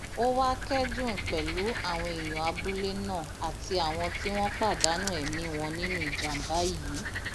ó wàá kẹdùn pẹlú àwọn èèyàn abúlé náà àti àwọn tí wọn pàdánù ẹmí wọn nínú ìjàmbá yìí